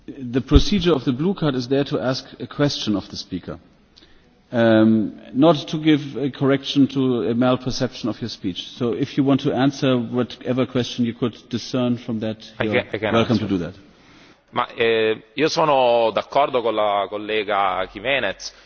Sono d'accordo con l'onorevole Jiménez ed è giusto che noi combattiamo un attacco nei confronti di una minoranza cristiana, sono assolutamente d'accordo ed è assolutamente giusto che difendiamo quelle che sono le origini dell'Europa, lo sappiamo che l'Europa ha origine cristiana.